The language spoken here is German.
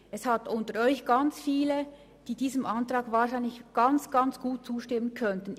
Es gibt viele unter Ihnen, die diesem Antrag wahrscheinlich gut zustimmen könnten.